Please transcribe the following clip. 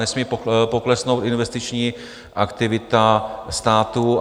Nesmí poklesnout investiční aktivita státu.